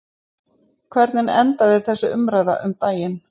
Hvernig endaði þessi umræða um daginn?